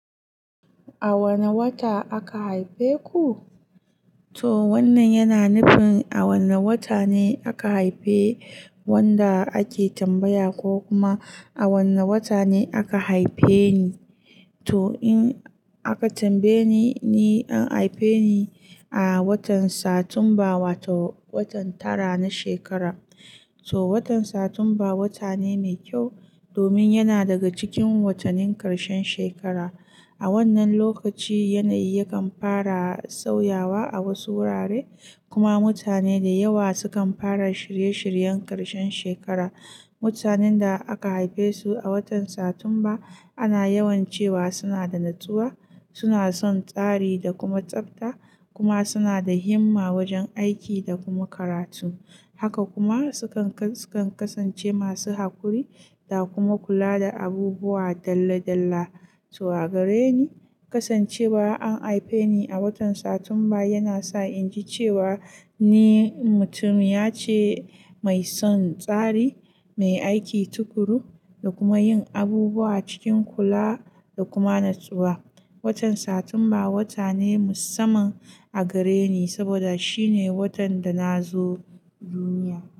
A wane wata aka haife ku? To wannan yana nufin a wanne wata ne aka haife wanda ake tambaya ko kuma a wanne wata ne aka haife ni. To in aka tambaye ni, an haife ni a watan Satumba, wato watan tara na shekara. To watan Satumba wata ne mai kyau domin yana daga cikin watannin karshen shekara. A wannan lokaci yanayi yakan fara sauyawa a wasu wurare kuma mutane da yawa sukan fara shirye-shiryen karshen shekara. Mutanen da aka haife su a watan Satumba ana yawan cewa suna da natsuwa, suna son tsari da kuma tsabta kuma suna da himma wajen aiki da kuma karatu. Haka kuma sukan-su kan kasance masu haƙuri da kuma kula da abubuwa dalla-dalla. To a gare ni, kasancewar an haife ni a watan Satumba yana sa in ji cewa ni mutuniya ce mai son tsari, mai aiki tuƙuru da kuma yin abubuwa cikin kula da kuma natsuwa. Watan Satumba wata ne musamman a gare ni saboda shi ne watan da na zo duniya.